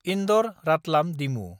इन्दर–रातलाम डिमु